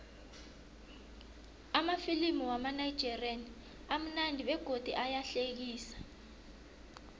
amafilimu wamanigerian amunandi begodu ayahlekisa